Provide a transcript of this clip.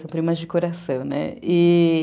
São primas de coração, né? e...